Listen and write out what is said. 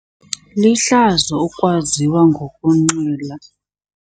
Lihlazo ukwaziwa ngokunxila.